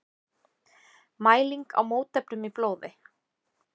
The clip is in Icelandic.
Mæling á mótefnum í blóði.